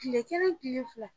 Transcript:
Tile kelen, tile fila